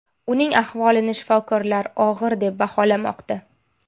Uning ahvolini shifokorlar og‘ir deb baholamoqda.